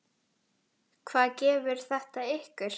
Hvað gefur þetta ykkur?